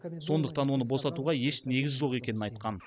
сондықтан оны босатуға еш негіз жоқ екенін айтқан